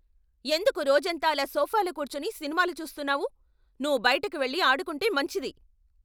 ఎందుకు రోజంతా అలా సోఫాలో కూర్చొని సినిమాలు చూస్తున్నావు? నువ్వు బయటకి వెళ్లి ఆడుకుంటే మంచిది!